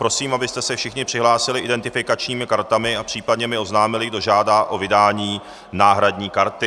Prosím, abyste se všichni přihlásili identifikačními kartami a případně mi oznámili, kdo žádá o vydání náhradní karty.